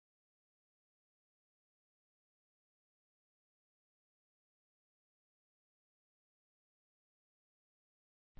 ਇੱਥੇ ਸੀਓਐਸ ਸੀਕੁਏਂਸਵਾਰ ਹਰ ਪੁਆਇੰਟ p ਦੀ ਕੋਸਾਇਨ ਵੈਲ੍ਯੂ ਦੇਂਦਾ ਹੈ